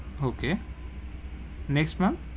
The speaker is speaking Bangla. Okay next ma'am,